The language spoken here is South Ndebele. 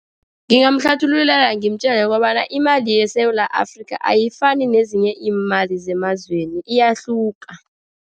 Ngingayihlathulula, ngimtjele yokobana imali yeSewula Afrika ayifani nezinye imali zemazweni iyahluka.